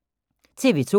TV 2